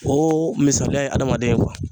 O misaliya ye adamaden ye